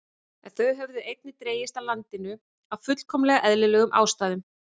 En þau höfðu einnig dregist að landinu af fullkomlega eðlilegum ástæðum.